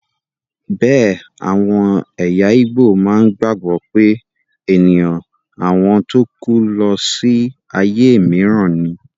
Bẹ́ẹ̀ àwọn ẹ̀yà ígbò má ń gbàgbọ́ pé ènìyàn àwọn tó kú lọ sí ayé mìíràn ni